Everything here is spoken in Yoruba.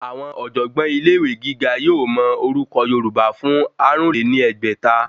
Àwọn ọ̀jọ̀gbọ́n ilé ìwé gíga yóò mọ orúkọ̀ yorùbá fún àrún lé ní ẹgbẹ́ta